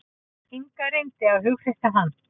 Inga reyndi að hughreysta hann.